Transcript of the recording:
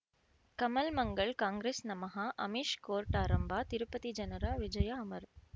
ಕಮಲ್ ಮಂಗಳ್ ಕಾಂಗ್ರೆಸ್ ನಮಃ ಅಮಿಷ್ ಕೋರ್ಟ್ ಆರಂಭ ತಿರುಪತಿ ಜನರ ವಿಜಯ ಅಮರ್